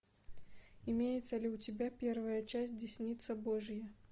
имеется ли у тебя первая часть десница божья